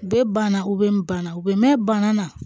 Bɛɛ banna u bɛ banna u bɛ mɛn mɛn bana na